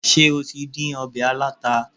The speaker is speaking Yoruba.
Ṣé o tí dín ọbẹ̀ aláta?